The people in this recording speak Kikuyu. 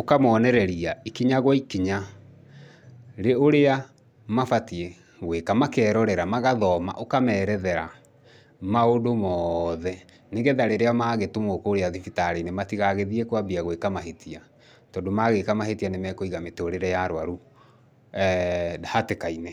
ũkamonereria ikinya gwa ikinya ũrĩa mabatiĩ gwĩka, makerorera, magathoma ũkamerethera maũndũ mothe. Nĩgetha rĩrĩa magĩtũmwo kũrĩa thibitarĩ-inĩ matigathiĩ kwambia gwĩka mahĩtia, tondũ magĩka mahĩtia nĩmekũiga mĩtũrĩre ya arwaru eeh hatĩka-inĩ.